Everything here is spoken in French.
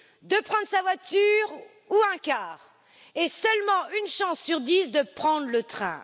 de prendre sa voiture ou un car et seulement une chance sur dix de prendre le train.